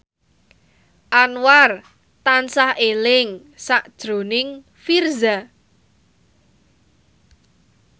Anwar tansah eling sakjroning Virzha